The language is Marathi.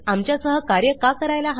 आमच्या सह कार्य का करायला हवे